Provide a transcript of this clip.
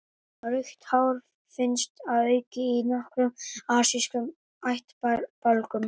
Rautt hár finnst að auki í nokkrum asískum ættbálkum.